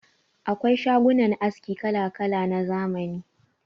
Akwai shagunan aski kala-kala na zamani.